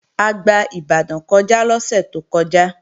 A gba Ìbàdàn kọjá lọ́sẹ̀ tó kọjá